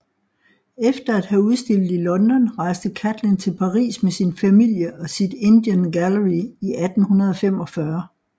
Efter at have udstillet i London rejste Catlin til Paris med sin familie og sit Indian Gallery i 1845